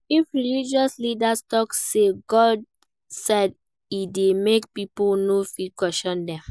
If religious leaders talk say 'God said' e de make pipo no fit question dem